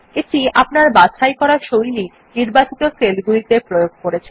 এটি আপনার বাছাই করা শৈলী নির্বাচিত সেল গুলিতে প্রয়োগ করেছে